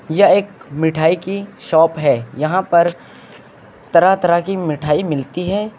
यह एक मिठाई की शॉप है यहां पर तरह तरह की मिठाई मिलती है।